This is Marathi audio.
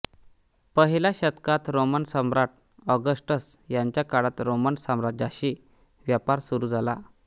पहिल्या शतकात रोमन सम्राट ऑगस्टस याच्या काळात रोमन साम्राज्याशी व्यापार सुरू झाला